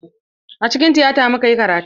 Acikin tiyata muka yi karatu.